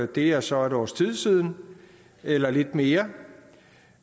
det er så et års tid siden eller lidt mere